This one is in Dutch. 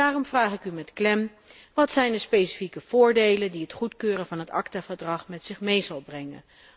Daarom vraag ik u met klem wat zijn de specifieke voordelen die het goedkeuren van het ACTA verdrag met zich mee zal brengen?